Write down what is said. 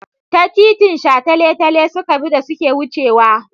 Ta titin shataletale suka bi da suke wucewa.